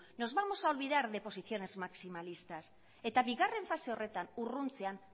nos vamos a olvidar de posiciones maximalistas eta bigarren fase horretan urruntzean